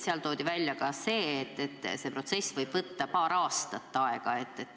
Seal toodi välja ka see, et see protsess võib võtta aega paar aastat.